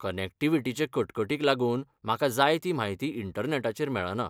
कनॅक्टिव्हिटीचे कटकटींक लागून म्हाका जाय ती म्हायती इंटरनॅटाचेर मेळना.